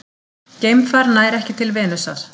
Geimfar nær ekki til Venusar